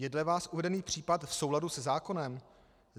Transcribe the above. Je dle vás uvedený případ v souladu se zákonem?